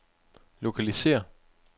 lokalisér